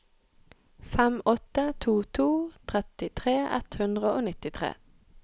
fem åtte to to trettitre ett hundre og nittitre